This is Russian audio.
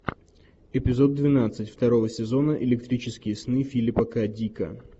эпизод двенадцать второго сезона электрические сны филипа к дика